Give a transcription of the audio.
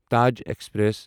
Taj express